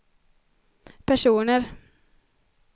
personer